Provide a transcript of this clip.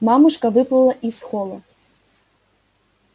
мамушка выплыла из холла